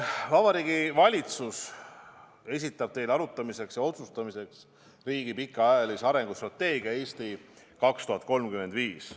Vabariigi Valitsus esitab teile arutamiseks ja otsustamiseks riigi pikaajalise arengustrateegia "Eesti 2035".